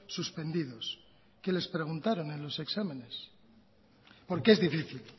suspendidos qué les preguntaron en los exámenes porque es difícil